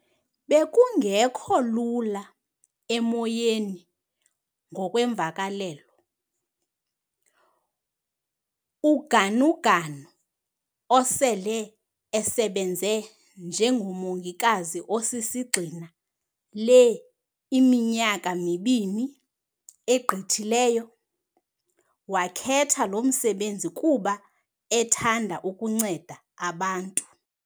"Bekungekho lula emoyeni ngokwemvakalelo."UGanuganu, osele esebenze njengomongikazi osisigxina le minyaka mibini egqithileyo, wakhetha lo msebenzi kuba ethanda ukunceda abantu.